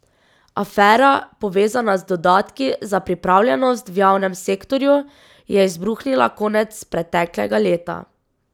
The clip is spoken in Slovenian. Afera, povezana z dodatki za pripravljenost v javnem sektorju, je izbruhnila konec preteklega leta.